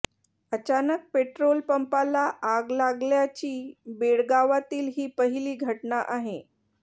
अचानक पेट्रोल पंपाला आग लागल्याची बेळगावातील ही पहिली घटना आहे